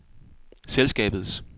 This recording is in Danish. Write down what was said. selskabets